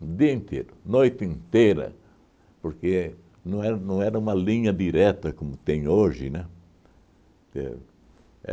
o dia inteiro, noite inteira, porque não era não era uma linha direta como tem hoje, né? tero